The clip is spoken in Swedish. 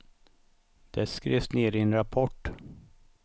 Det skrivs ner i en rapport.